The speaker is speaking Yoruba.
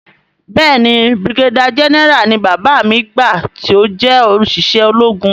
Béèni brigadier general ni bàbá mi gbà ti ọ jé oṣiṣẹ ológun.